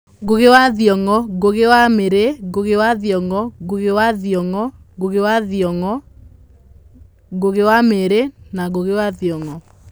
Ngũgĩ wa Thiong'o, Ngũgĩ wa Mĩriĩ, Ngũgĩ wa Thiong'o, Ngũgĩ wa Thiong'o, Ngũgĩ wa Thiong'o, Ngũgĩ wa Thiong'o, Ngũgĩ wa Thiong'o, Ngũgĩ wa Thiong'o, Ngũgĩ wa Mĩriĩ, Ngũgĩ wa Thiong'o, Ngũgĩ wa Thiong'o